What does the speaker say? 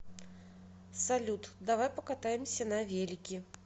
салют давай покатаемся на велике